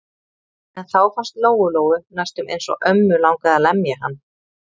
En þá fannst Lóu-Lóu næstum eins og ömmu langaði að lemja hann.